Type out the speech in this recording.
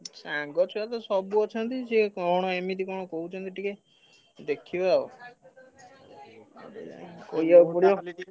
ସାଙ୍ଗ ଛୁଆ ତ ସବୁ ଅଛନ୍ତି ସିଏ କଣ ଏମିତି କଣ କହୁଛନ୍ତି ଟିକେ ଦେଖିବା ଆଉ